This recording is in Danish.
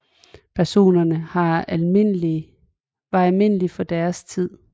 Personerne var almindelige for deres tid